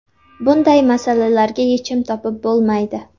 Bunday masalalarga yechim topib bo‘lmaydi.